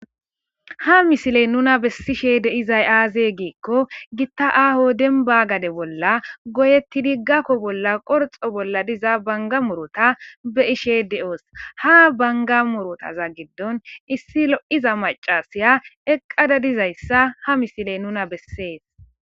Ha missiley nuuna bessishe deizay aze giiko gitta demba gade bolla goyetidi gakio bolla qorxxa bolla diza bangga muuruta beishe deo'osu ha bangga muurutaza giidon issi loiza maccashiya eqqada diizayssa ha missiley nuna besses.